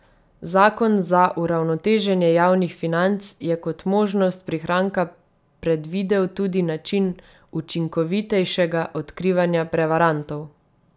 Zakon za uravnoteženje javnih financ je kot možnost prihranka predvidel tudi način učinkovitejšega odkrivanja prevarantov.